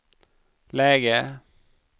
läge